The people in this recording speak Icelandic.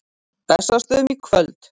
Bessastöðum í kvöld!